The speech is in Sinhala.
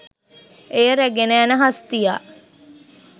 එය රැගෙන යන හස්තියා